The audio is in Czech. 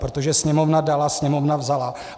Protože sněmovna dala, sněmovna vzala.